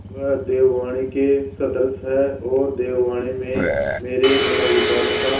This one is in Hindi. वह देववाणी के सदृश हैऔर देववाणी में मेरे मनोविकारों का